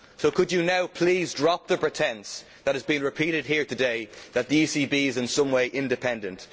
Could you now please drop the pretence that has been repeated here today, that the ECB is in some way independent?